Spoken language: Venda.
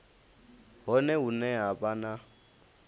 hone hune ha vha na